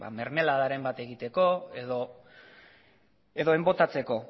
mermeladaren bat egiteko edo enbotatzeko